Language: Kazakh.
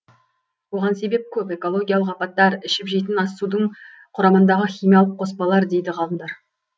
оған себеп көп экологиялық апаттар ішіп жейтін ас судың құрамындағы химиялық қоспалар дейді ғалымдар